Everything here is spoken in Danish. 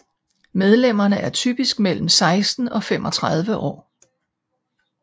Medlemmerne er typisk mellem 16 og 35 år